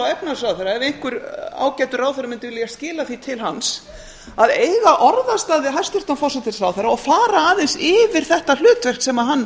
efnahagsráðherra ef einhver ágætur ráðherra mundi vilja skila því til hans að eiga orðastað við hæstvirtan forsætisráðherra og fara aðeins yfir þetta hlutverk sem hann